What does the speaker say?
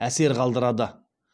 әсер қалдырады